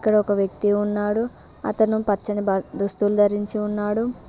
ఇక్కడ ఒక వ్యక్తి ఉన్నాడు అతను పచ్చని బ దుస్తులు ధరించి ఉన్నాడు.